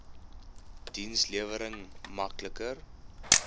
dienslewering mak liker